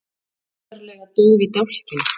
Undarlega dauf í dálkinn.